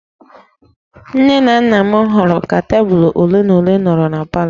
Nne na nna m họọrọ ka tebụl ole na ole nọrọ na palọ